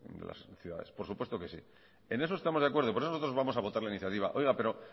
de las ciudades por supuesto que sí en eso estamos de acuerdo por eso nosotros vamos a votar la iniciativa oiga pero